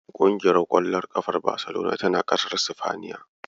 Ƙumgiyar ƙwallon ƙafar Baselona tana ƙasar Sifaniya.